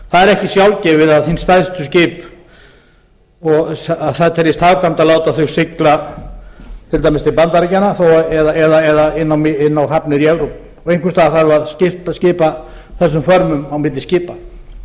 það er ekki sjálfgefið að það teljist hagkvæmt að láta hin stærstu skip sigla til dæmis til bandaríkjanna eða inn á hafnir í evrópu og einhvers staðar þarf að skipa þessum vörnum á milli skipa